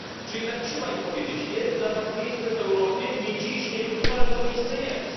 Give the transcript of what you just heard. Czy jednak trzeba im powiedzieć jest dla was miejsce w Europie, nie dziś, nie jutro, ale to miejsce jest.